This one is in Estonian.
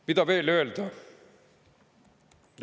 Mida veel öelda?